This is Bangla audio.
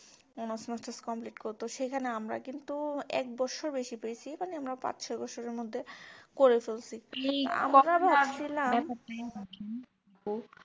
honors masters complete করতেও সেখানে আমরা কিন্তু এক বৎসর বেশি পেয়েছি মানে আমরা পাঁচ ছয় বছরের মধ্যে করে ফেলছি